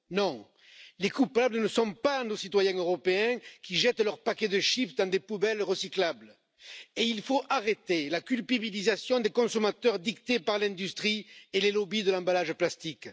Non, les coupables ne sont pas nos citoyens européens qui jettent leurs paquets de chips dans des poubelles recyclables, et il faut arrêter la culpabilisation des consommateurs dictée par l'industrie et les lobbies de l'emballage plastique.